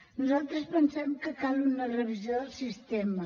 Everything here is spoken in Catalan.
nosaltres pensem que cal una revisió del sistema